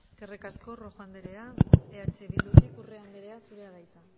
eskerrik asko rojo anderea eh bildutik urrea anderea zurea da hitza